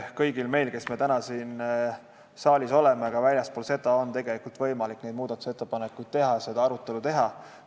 Kõigil meil, kes me täna oleme siin saalis ja ka väljaspool seda, on võimalik muudatusettepanekuid teha, selles arutelus osaleda.